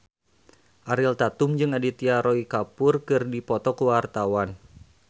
Ariel Tatum jeung Aditya Roy Kapoor keur dipoto ku wartawan